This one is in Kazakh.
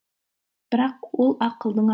бірақ ол ақылдың